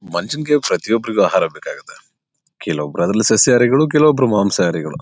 ಮನುಷ್ಯ ನಿಗೆ ಪ್ರತಿಯೊಬ್ಬರಿಗೂ ಆಹಾರ ಬೇಕಾಗುತ್ತದೆ. ಕೆಲಒಬ್ಬರು ಅದ್ರಲ್ಲಿ ಸಸ್ಯಹಾರಿ ಕೆಲಒಬ್ಬರು ಮಾಂಸಹಾರಿಗಳು.